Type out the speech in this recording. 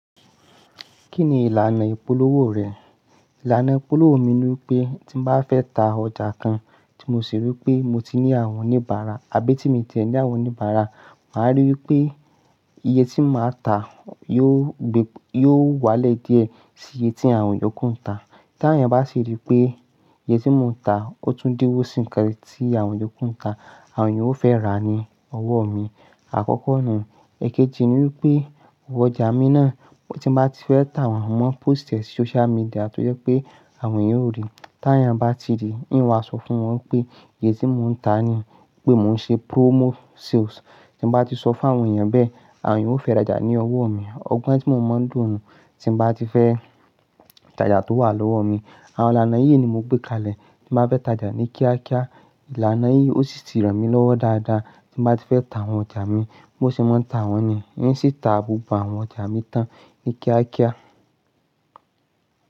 Kí ni ìlànà ìpolówó rẹ̀? Ìlànà ìpolówó mi ni wípé tí n bá fẹ́ ta ọjà kan tí mo sì rí pé mo ti ní àwọn oníbàárà àbí tí mo ti rí ẹni àwọn oníbàárà, màá rí wípé iye tí màá ta yóò wálẹ̀ díẹ̀ sí iye tí àwọn ìyókù ń ta. Tí àwon eeyan bá sì rí pé iye tí mò ń ta ó tún díwó sí kan tí àwọn ìyókù ń ta, àwọn ènìyàn ó fẹ́ rà á ní ọwọ́ mi. Àkọ́kọ́ náà. Èkéji ni wípé ọwọ́ ọjà mi náà tí mo bá ti fẹ́ tà wọ́n mọ́, post ẹ sí social media tó jẹ́ pé àwọn ènìyàn ó ríi. Tí àyàn bá ti rí i, ni n ó asọ fún wọn wípé iye tí mò ń ta ni, wípé mò ń ṣe promo sales. Tí mo bá ti sọ fún àwọn èyàn bẹ́ẹ̀, àwọn èyàn ó fẹ́ rajà ní ọwọ́ mi. Ọgbọ́n tí mo máa ń lò nù. Tí mo bá ti fẹ́ tajà tó wà lọ́wọ́ mi, àwọn ìlànà yìí ni mo gbé kalẹ̀ tí màá fẹ́ tajà ní kíákíá. Ìlànà yìí ó sì ti ràn mí lọ́wọ́ dáadáa tí bàá tí fẹ́ ta àwọn ọjà mi, bó ṣe máa ń tà wọ́n ni, yí sì tà gbogbo àwọn ọjà mi tán ní kíákíá.